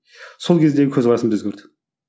сол кездегі көзқарасым да өзгерді